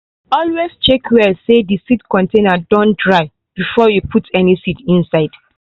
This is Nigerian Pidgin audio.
always check well say the seed container don dry finish before you put any seed inside.